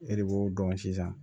E de b'o dɔn sisan